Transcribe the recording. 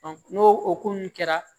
n'o hokumu kɛra